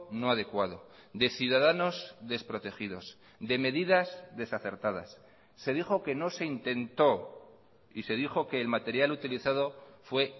no adecuado de ciudadanos desprotegidos de medidas desacertadas se dijo que no se intentó y se dijo que el material utilizado fue